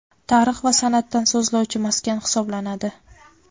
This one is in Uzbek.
tarix va san’atdan so‘zlovchi maskan hisoblanadi.